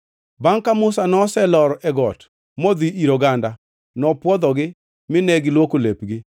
Bangʼ ka Musa noselor e got modhi ir oganda, nopwodhogi mine gilwoko lepgi.